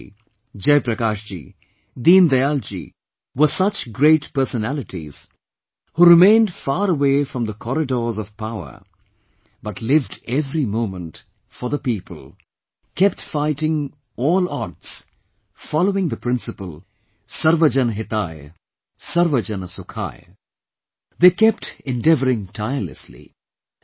Gandhiji, Jai Prakashji, Deen Dayalji were such great personalities who remained far away from the corridors of power but lived every moment for the people, kept fighting all odds following the principle "Sarv Jan Hitay Sarv Jan Sukhay", they kept endeavouring tirelessly